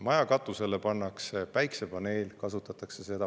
Maja katusele pannakse päikesepaneel, kasutatakse seda.